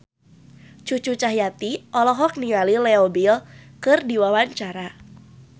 Cucu Cahyati olohok ningali Leo Bill keur diwawancara